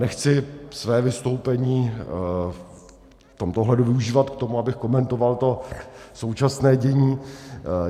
Nechci své vystoupení v tomto ohledu využívat k tomu, abych komentoval to současné dění.